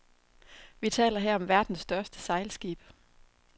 Vi taler her om verdens største sejlskib.